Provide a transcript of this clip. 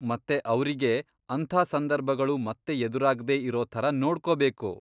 ಮತ್ತೆ ಅವ್ರಿಗೆ ಅಂಥ ಸಂದರ್ಭಗಳು ಮತ್ತೆ ಎದುರಾಗ್ದೇ ಇರೋ ಥರ ನೋಡ್ಕೊಬೇಕು.